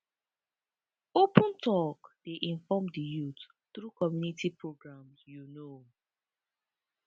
open talk dey inform di youth through community programs you know pause